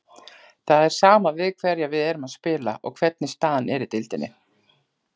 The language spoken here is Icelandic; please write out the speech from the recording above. Það er sama við hverja við erum að spila og hvernig staðan er í deildinni.